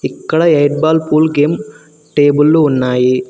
ఇక్కడ eight ball pool game టేబుళ్లు ఉన్నాయి.